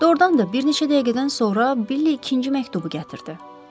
Doğrudan da bir neçə dəqiqədən sonra Bill ikinci məktubu gətirdi.